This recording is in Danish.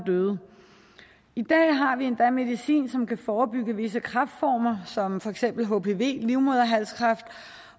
døde i dag har vi endda medicin som kan forebygge visse kræftformer som for eksempel hpv livmoderhalskræft